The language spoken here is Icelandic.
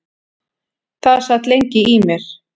Það sat lengi í mér.